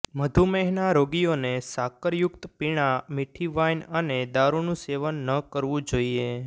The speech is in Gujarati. મધુમેહના રોગીયોને સાકર યુક્ત પીણાં મીઠી વાઇન અને દારૂનું સેવન ન કરવું જોઇએ